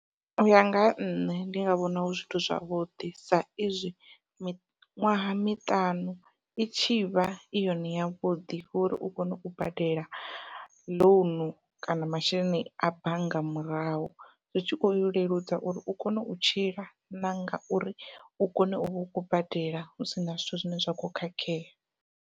Uya nga ha nṋe ndi a vhona hu zwithu zwavhuḓi sa izwi miṅwaha miṱanu i tshivha i yone yavhuḓi uri u kone u badela ḽounu kana masheleni a bannga murahu, zwi tshi khou ya u leludza uri u kone u tshila nanga uri u kone u vha u khou badela hu sina zwithu zwine zwa kho khakhea.